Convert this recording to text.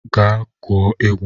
Gaa gwuo egwu!